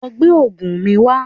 Lọ gbé oògùn mi wá